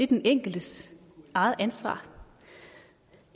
den enkeltes eget ansvar